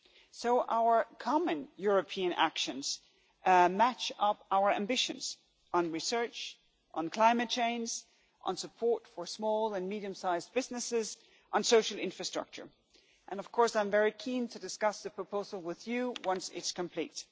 So our common European actions match our ambitions on research, on climate change, on support for small and medium sized businesses and on social infrastructure, and I am very keen to discuss the proposal with you once it is complete.